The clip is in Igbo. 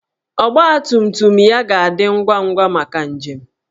Ọgbatumtum ya ga-adị ngwa ngwa maka njem.